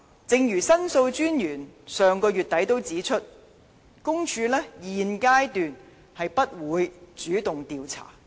正如申訴專員上月底亦指出，公署現階段不會主動調查。